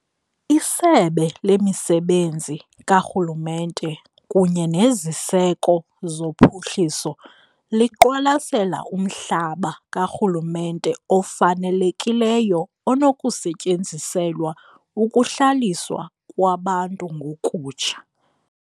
ISebe lemiSebenzi kaRhulumente kunye neZiseko zoPhuhliso liqwalasela umhlaba karhulumente ofanelekileyo onokusetyenziselwa ukuhlaliswa kwabantu ngokutsha.